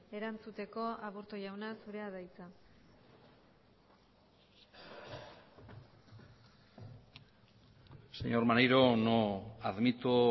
erantzuteko aburto jauna zurea da hitza señor maneiro no admito